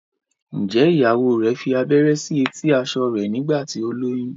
njé ìyàwó rẹ fí abẹrẹ sí eti aṣọ rẹ nígbà tí o lóyún?